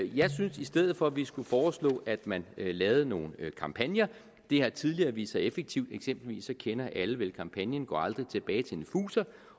jeg synes i stedet for at vi skulle foreslå at man lavede nogle kampagner det har tidligere vist sig effektivt eksempelvis kender alle vel kampagnen gå aldrig tilbage til en fuser